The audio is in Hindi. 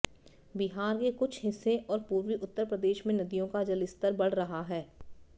बिहार के कुछ हिस्से और पूर्वी उत्तर प्रदेश में नदियों का जलस्तर बढ़ रहा है